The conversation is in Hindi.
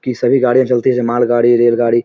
की सभी गाड़िया चलती माल गाड़ी ये रेल गाड़ी --